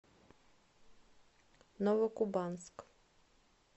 новокубанск